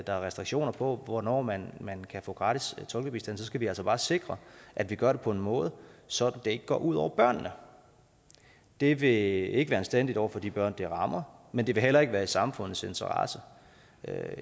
der er restriktioner for hvornår man man kan få gratis tolkebistand så skal vi altså bare sikre at vi gør det på en måde så det ikke går ud over børnene det det vil ikke være anstændigt over for de børn det rammer men det vil heller ikke være i samfundets interesse